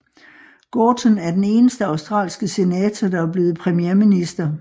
Gorton er den eneste australske senator der er blevet premierminister